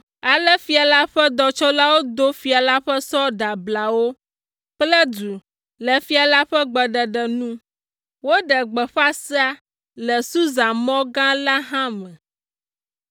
Ale fia la ƒe dɔtsɔlawo do fia la ƒe sɔ ɖeablawo kple du le fia la ƒe gbeɖeɖe nu. Woɖe gbeƒã sea le Susa mɔ gã la hã me.